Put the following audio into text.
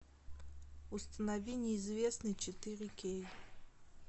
установи неизвестный четыре кей